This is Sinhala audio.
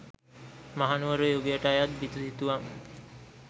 මහනුවර යුගයට අයත් බිතු සිතුවම්